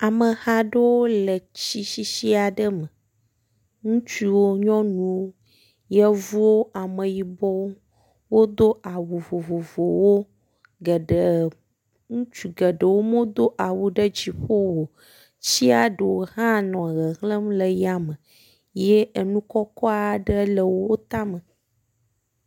Ameha ɖeo le tsi sisi aɖe me. Ŋutsuwo, nyɔnuwo, yevuwo, ameyibɔwo wodo awu vovovowo geɖe ŋutsu geɖewo medo awu ɖe dziƒo o tsia ɖewo hã nɔ hehlem le yame ye enu kɔkɔk aɖewo le wo tame.